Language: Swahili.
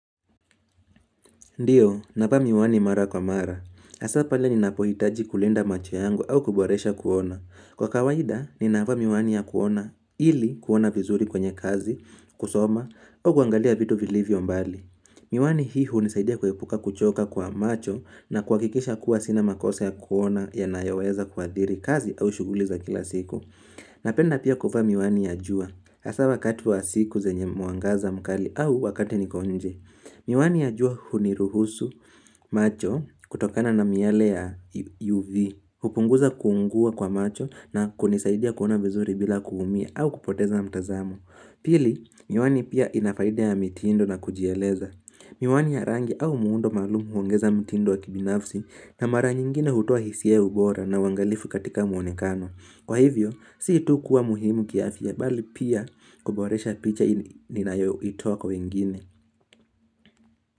Ndiyo, navaa miwani mara kwa mara. Hasaa pale ninapohitaji kulinda macho yangu au kuboresha kuona. Kwa kawaida, ninavaa miwani ya kuona ili kuona vizuri kwenye kazi, kusoma, au kuangalia vitu vilivyo mbali. Miwani hii hunisaidia kuepuka kuchoka kwa macho na kuhakikisha kuwa sina makosa ya kuona yanayoweza kuadhiri kazi au shughuli za kila siku. Napenda pia kuvaa miwani ya jua. Hasa wakati wa siku zenye mwangaza mkali au wakati niko nje. Miwani ya jua huniruhusu macho kutokana na miale ya UV. Hupunguza kuungua kwa macho na kunisaidia kuona vizuri bila kuumia au kupoteza mtazamo. Pili, miwani pia ina faida ya mitindo na kujieleza. Miwani ya rangi au muundo malumu huongeza mitindo wa kibinafsi na mara nyingine hutoa hisia ya ubora na uangalifu katika muonekano. Kwa hivyo, si tu kuwa muhimu kiafya bali pia kuboresha picha ninayoitoa kwa wengine.